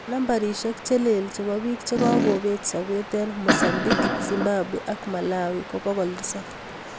Nambarishek che lel chebo bik chekagobet sabet eng mozambique, zimbabwe ak malawi ko 700